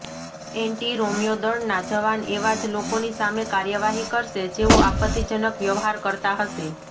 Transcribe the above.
anti Romeo દળના જવાન એવા જ લોકોની સામે કાર્યવાહી કરશે જેઓ આપત્તિજનક વ્યવહાર કરતા હશે